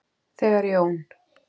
Þegar Jón